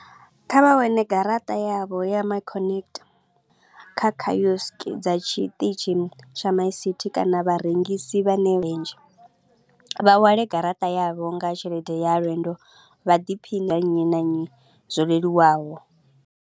Kha vha wane garaṱa yavho ya my connect kha kiosk dza tshiṱitshi tsha my city kana vharengisi vha vha hwale garaṱa yavho nga tshelede ya lwendo vha ḓiphine ya nnyi na nnyi zwo leluwaho.